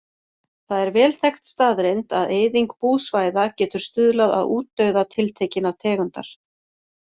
Það er vel þekkt staðreynd að eyðing búsvæða getur stuðlað að útdauða tiltekinnar tegundar.